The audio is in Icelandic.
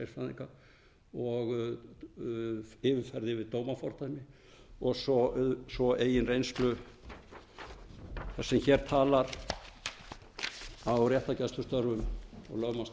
sérfræðinga og yfirferð yfir dómafordæmi og svo eigin reynslu þess sem hér talar af réttargæslustörfum og